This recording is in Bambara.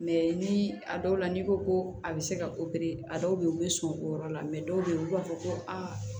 ni a dɔw la n'i ko ko a bɛ se ka a dɔw bɛ yen u bɛ sɔn o yɔrɔ la dɔw bɛ yen olu b'a fɔ ko aa